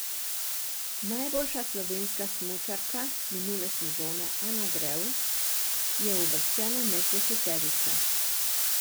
Najboljša slovenska smučarka minule sezone Ana Drev je uvrščena med deseterico.